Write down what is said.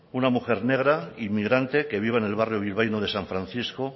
una mujer negra inmigrante que vive en el barrio bilbaíno de san francisco